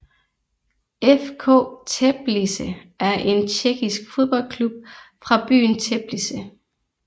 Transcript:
FK Teplice er en tjekkisk fodboldklub fra byen Teplice